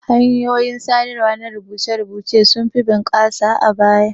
Hanyoyin sadarwa na rubuce-rubuce sunfi bunƙasa a baya.